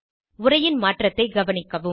உரையின் மாற்றத்தைக் கவனிக்கவும்